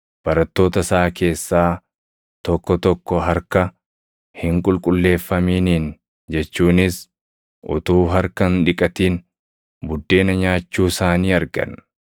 barattoota isaa keessaa tokko tokko harka, “Hin qulqulleeffaminiin” jechuunis utuu harka hin dhiqatin buddeena nyaachuu isaanii argan.